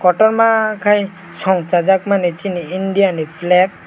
kotorma kei songsajak mani sini india ni flake.